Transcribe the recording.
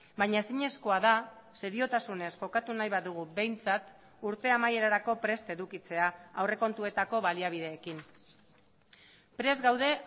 baina ezinezkoa da seriotasunez jokatu nahi badugu behintzat urte amaierarako prest edukitzea aurrekontuetako baliabideekin prest gaude